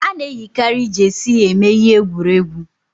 Ana eyikari jeesi eme ihe egwuregwu